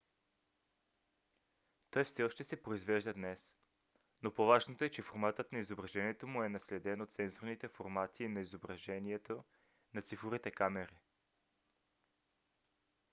той все още се произвежда днес но по-важното е че форматът на изображението му е наследен от сензорните формати на изображението на цифровите камери